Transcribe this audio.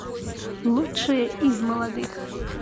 лучшие из молодых